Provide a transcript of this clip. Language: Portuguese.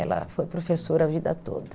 Ela foi professora a vida toda.